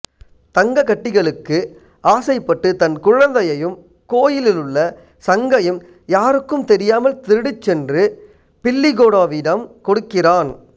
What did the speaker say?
தங்கக்கட்டிகளுக்கு ஆசைப்பட்டு தன் குழந்தையையும் கோயிலிலுள்ள சங்கையும் யாருக்கும் தெரியாமல் திருடிச்சென்று பில்லிகோடாவிடம் கொடுக்கிறான்